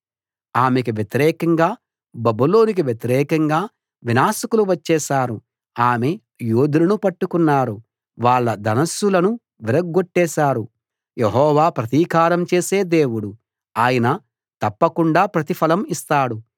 ఆమెకు వ్యతిరేకంగా బబులోనుకు వ్యతిరేకంగా వినాశకులు వచ్చేశారు ఆమె యోధులను పట్టుకున్నారు వాళ్ళ ధనుస్సులను విరగ్గొట్టేశారు యెహోవా ప్రతీకారం చేసే దేవుడు ఆయన తప్పకుండా ప్రతిఫలం ఇస్తాడు